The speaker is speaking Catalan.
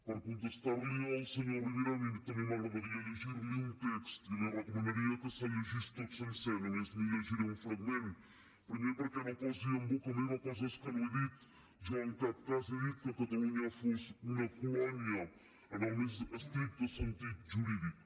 per contestar li al senyor rivera a mi també m’agradaria llegir li un text i li recomanaria que se’l llegís tot sencer només li’n llegiré un fragment primer perquè no posi en boca meva coses que no he dit jo en cap cas he dit que catalunya fos una colònia en el més estricte sentit jurídic